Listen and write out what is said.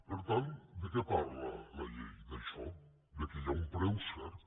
per tant de què parla la llei d’això del fet que hi ha un preu cert